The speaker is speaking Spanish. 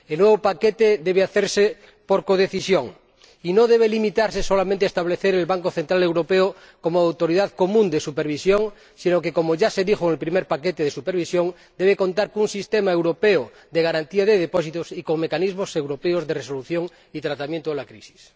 El nuevo paquete debe hacerse por codecisión y no debe limitarse solamente a establecer el Banco Central Europeo como autoridad común de supervisión, sino que, como ya se dijo en el primer paquete de supervisión, debe contar con un sistema europeo de garantía de depósitos y con mecanismos europeos de resolución y tratamiento de la crisis.